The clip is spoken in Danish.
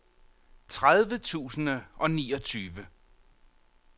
tredive tusind og niogtyve